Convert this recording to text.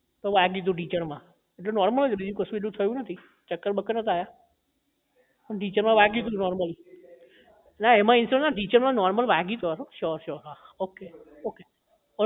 તો વાગ્યું હતું ઢીંચણ માં જો normal છે બીજું એવું કશું થયું નથી ચક્કર બક્કર નહોતા આવ્યા ઢીંચણ માં વાગ્યું હતું normal ના એમાં ઇન્સ્યોરેન્સ ના હોય ને ઢીંચણ માં વાગ્યું હતું normal sure sure હા હન હ okay okay